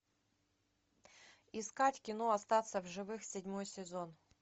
искать кино остаться в живых седьмой сезон